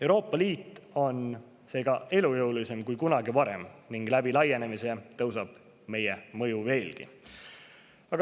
Euroopa Liit on seega elujõulisem kui kunagi varem ning laienedes suureneb meie mõju veelgi.